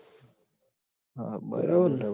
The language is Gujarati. હમ હમ બરાબર